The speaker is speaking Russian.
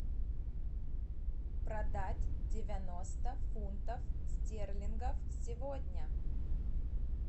продать девяносто фунтов стерлингов сегодня